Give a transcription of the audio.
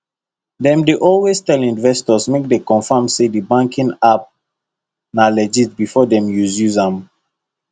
dem dey always tell investors make dem confirm say the banking app na legit before dem use use am